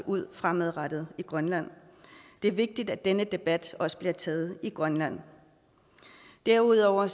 ud fremadrettet i grønland det er vigtigt at denne debat også bliver taget i grønland derudover